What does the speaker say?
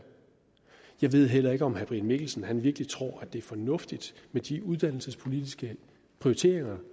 jeg ved heller ikke om herre brian mikkelsen virkelig tror at det er fornuftigt med de uddannelsespolitiske prioriteringer